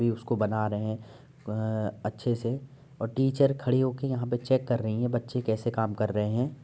अभी उसको बना रहे हैं अ अच्छे से और टीचर खड़ी हो के यहां पे चेक कर रही हैं बच्चे कैसे काम कर रहें हैं।